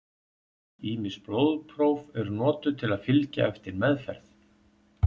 ýmis blóðpróf eru notuð til að fylgja eftir meðferð